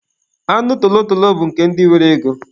Anụ tolotolo bụ nke ndị nwere ego.